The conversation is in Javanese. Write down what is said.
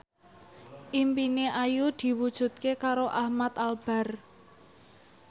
impine Ayu diwujudke karo Ahmad Albar